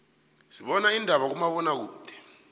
sibana indaba kuma bona kude